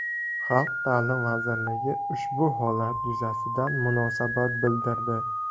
Xalq ta’lim vazirligi ushbu holatlar yuzasidan munosabat bildirdi .